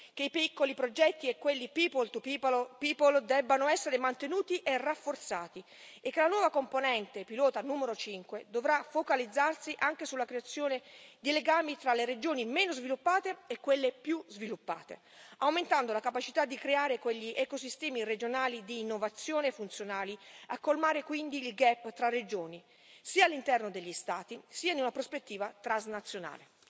che i piccoli progetti e quelli people to people debbano essere mantenuti e rafforzati e che la nuova componente pilota numero 5 dovrà focalizzarsi anche sulla creazione di legami tra le regioni meno sviluppate e quelle più sviluppate, aumentando la capacità di creare quegli ecosistemi regionali di innovazione, funzionali a colmare quindi il gap tra regioni, sia all'interno degli Stati sia in una prospettiva transnazionale.